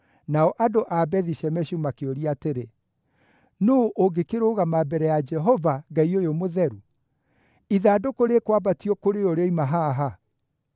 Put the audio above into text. nao andũ a Bethi-Shemeshu makĩũria atĩrĩ, “Nũũ ũngĩkĩrũgama mbere ya Jehova, Ngai ũyũ mũtheru? Ithandũkũ rĩkwambatio kũrĩ ũ rĩoima haha?”